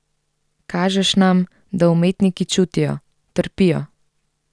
Kažeš nam, da umetniki čutijo, trpijo.